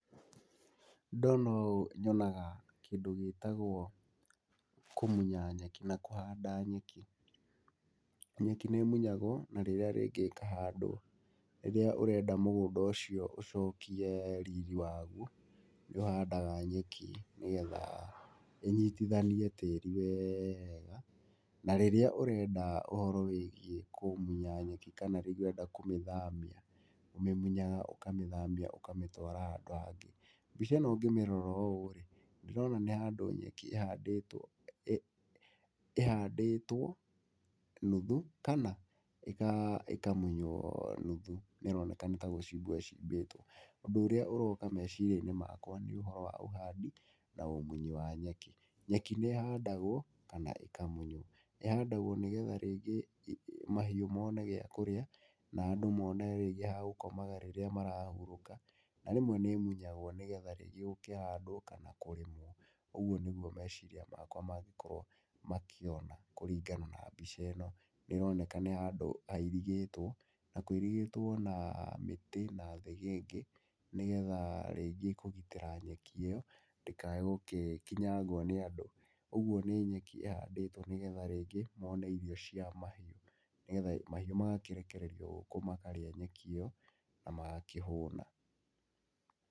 Ndona ũũ nyonaga kĩndũ gĩtagwo kũmunya nyeki na kũhanda nyeki. Nyeki nĩ ĩmunyagwo na rĩrĩa rĩngĩ ĩkahandwo. Rĩrĩa ũrenda mũgũnda ũcio ũcokie riri waguo nĩũhandaga nyeki, nĩgetha ĩnyitithanie tĩri wega. Na rĩrĩa ũrenda ũhoro wĩgiĩ kũmunya nyeki kana rĩngĩ ũrenda kũmĩthamia ũmĩmunyaga ũkamĩthamia ũkamĩtwara handũ hangĩ. Mbica ĩno ngĩmĩrora ũũ ndĩrona nĩ handũ nyeki ĩhandĩtwo, ĩhandĩtwo nuthu kana ĩkamuywo nuthu na ĩroneka ta arĩ gũcimbwo icimbĩtwo. Ũndũ ũrĩa ũroka meciria-inĩ makwa nĩ ũhoro wa ũhandi na ũmunyi wa nyeki. Nyeki nĩĩhandagwo kana ĩkamunywo, ĩhandagwo nĩgetha rĩngĩ mahiũ mone kĩndũ gĩa kũrĩa na andũ mone hihi handũ ha gũkomaga hĩndĩ ĩrĩa marahurũka. Na rĩngĩ nĩ ĩmuyagwo nĩgetha rĩngĩ gũkĩhandwo kana gũkĩrĩmwo. Ũguo nĩguo meciria makwa mangĩkorwo makĩona kũringana na mbica ĩno, nĩroneka nĩ handũ hairigĩtwo na kũirigĩtwo na mĩtĩ na thĩgĩngĩ, nĩgetha rĩngĩ kũgitĩra nyeki ĩyo ndĩkaĩ gũgĩkinyangwo nĩ andũ. Ũguo nĩ nyeki ĩhandĩtwo, nĩgetha rĩngĩ mone irio cia mahiũ, nĩgetha mahiũ makarekererio gũkũ magakĩrĩa nyeki ĩyo na magakĩhũna.